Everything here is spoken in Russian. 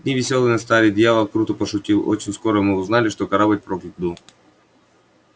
дни весёлые настали дьявол круто пошутил очень скоро мы узнали что корабль проклят был